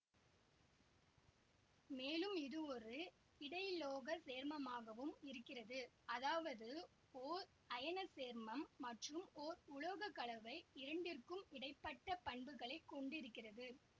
மேலும் இதுவொரு இடையுலோகச் சேர்மமாகவும் இருக்கிறது அதாவது ஓர் அயனச் சேர்மம் மற்றும் ஓர் உலோக கலவை இரண்டிற்கும் இடை பட்ட பண்புகளை கொண்டிருக்கிறது